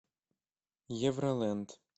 евролэнд